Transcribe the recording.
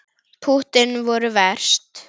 Púttin voru verst.